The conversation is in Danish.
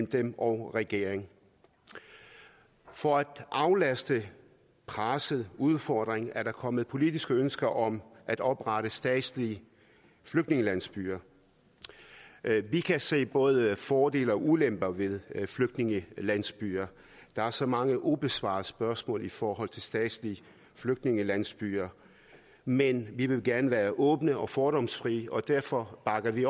dem og regeringen for at aflaste presset udfordringen er der kommet politiske ønsker om at oprette statslige flygtningelandsbyer vi kan se både fordele og ulemper ved flygtningelandsbyer der er så mange ubesvarede spørgsmål i forhold til statslige flygtningelandsbyer men vi vil gerne være åbne og fordomsfrie og derfor bakker vi